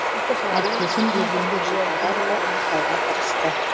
әріптесім ерденбек жылқайдарұлы анықтауға тырысты